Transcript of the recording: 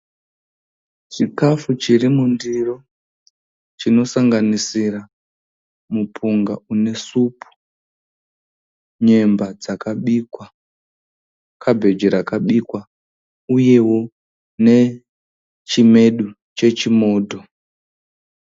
Chikafu chiri mundiro chinosanganisira mupunga unesupu, nyemba dzakabikwa, kabhechi rakabikwa uyewo nechimedu chechimodho.